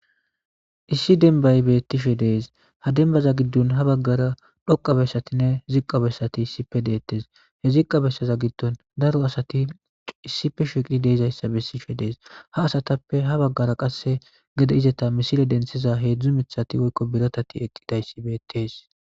Issi demba betishe des ha dembaza gidonha bagara dhoqa besatine ziqa besati issipe deteshe ziqa besaza gidon daro asati issipe shiqidi de'izaysa besishe Des ha asatappe ha bagara qase gede izeta misile denthiza hedzdzu mithati eqidaysat betes.